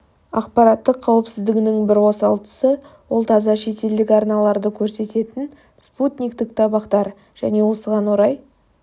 ақпараттық қауіпсіздігінің бір осал тұсы ол таза шетелдік арналарды көрсететін спутниктік табақтар және осыған орай